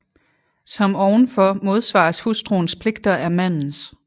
Som ovenfor modsvares hustruens pligter af mandens